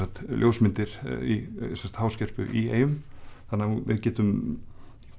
ljósmyndir í í eyjum þannig að við getum